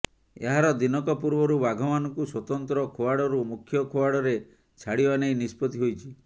ଏହାର ଦିନକ ପୂର୍ବରୁ ବାଘମାନଙ୍କୁ ସ୍ୱତନ୍ତ୍ର ଖୁଆଡ଼ରୁ ମୁଖ୍ୟ ଖୁଆଡ଼ରେ ଛାଡ଼ିବା ନେଇ ନିଷ୍ପତି ହୋଇଛି